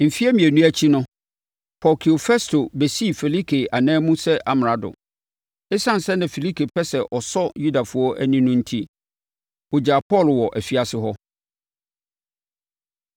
Mfeɛ mmienu akyi no, Porkio Festo bɛsii Felike ananmu sɛ amrado. Esiane sɛ na Felike pɛ sɛ ɔsɔ Yudafoɔ no ani no enti, ɔgyaa Paulo wɔ afiase hɔ.